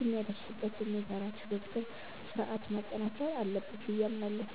የሚያደርስበትን የጋራ የትብብር ሥርዓት ማጠናከር አለበት ብዬ አምናለሁ።